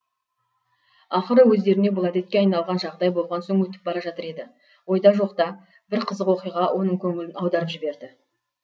ақыры өздеріне бұл әдетке айналған жағдай болған соң өтіп бара жатыр еді ойда жоқта бір қызық оқиға оның көңілін аударып жіберді